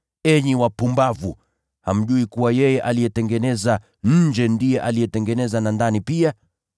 Enyi wapumbavu! Hamjui kuwa yeye aliyetengeneza nje ndiye alitengeneza na ndani pia?